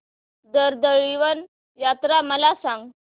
कर्दळीवन यात्रा मला सांग